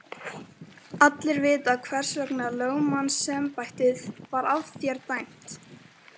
Allir vita hvers vegna lögmannsembættið var af þér dæmt!